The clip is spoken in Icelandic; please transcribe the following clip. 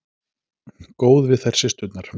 Góð við þær systurnar.